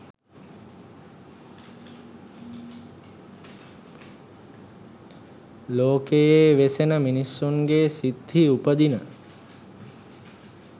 ලෝකයේ වෙසෙන මිනිසුන්ගේ සිත්හි උපදින